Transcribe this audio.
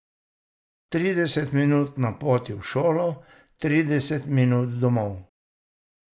Trideset minut na poti v šolo, trideset minut domov.